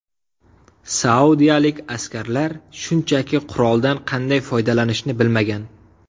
Saudiyalik askarlar shunchaki quroldan qanday foydalanishni bilmagan.